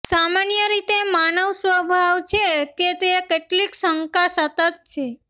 સામાન્ય રીતે માનવ સ્વભાવ છે કે તે કેટલીક શંકા સતત છે